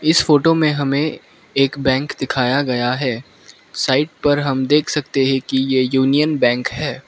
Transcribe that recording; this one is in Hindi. इस फोटो में हमें एक बैंक दिखाया गया है साइड पर हम देख सकते हैं कि ये यूनियन बैंक है।